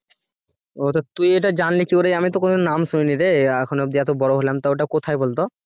ও এইটা তুই এইটা জানলি কি করে আমি তো নাম শুনিনি রে এখন অব্দি এত বড় হলাম তা ওটা কথায় বলতো